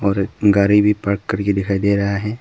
और एक गाड़ी भी पार्क करके दिखाई दे रहा है।